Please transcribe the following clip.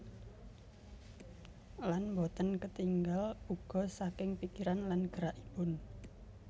Lan boten ketingal uga saking pikiran lan gerakipun